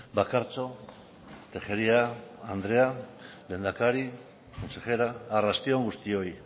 bakartxo tejeria andrea lehendakari consejera arrasti on guztioi